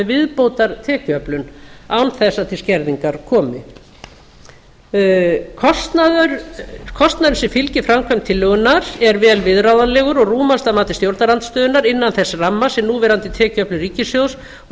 viðbótartekjuöflun án þess að til skerðingar komi kostnaður sem fylgir framkvæmd tillögunnar er vel viðráðanlegur og rúmast að mati stjórnarandstöðunnar innan þess ramma sem núverandi tekjuöflun ríkissjóðs og